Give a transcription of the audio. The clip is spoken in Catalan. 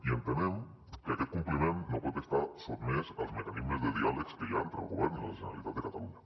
i entenem que aquest compliment no pot estar sotmès als mecanismes de diàleg que hi ha entre el govern i la generalitat de catalunya